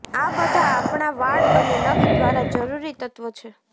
આ બધા આપણા વાળ અને નખ દ્વારા જરૂરી તત્વો છે